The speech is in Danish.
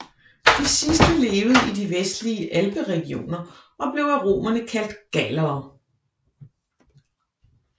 De sidste levede i de vestlige alperegioner og blev af romerne kaldt gallere